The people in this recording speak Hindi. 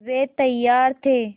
वे तैयार थे